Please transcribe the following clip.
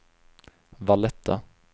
Valletta